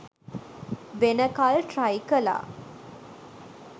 වෙනකල් ට්‍රයිකලා.